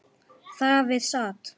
Þar við sat.